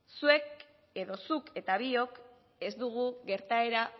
zuk eta biok ez dugu gertaera